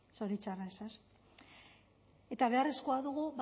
zoritxarrez eta beharrezkoa dugu